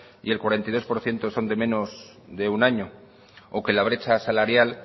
y el cuarenta y dos por ciento son de menos de un año o que la brecha salarial